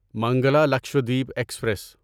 Mangla Lakshadweep express